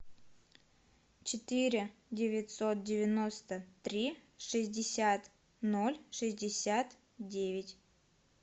четыре девятьсот девяносто три шестьдесят ноль шестьдесят девять